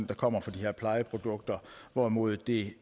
der kommer fra de her plejeprodukter hvorimod det